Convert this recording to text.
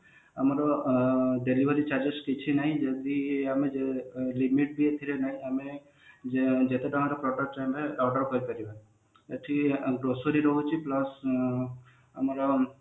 ଏଠି ଆମର delivery charges କିଛି ନାହିଁ ଏଠି grocery ରହୁଛି ଆମର